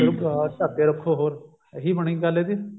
ਢੱਕ ਕੇ ਰੱਖੋ ਹੋਰ ਇਹੀ ਬਣੀ ਗੱਲ ਇਹਦੀ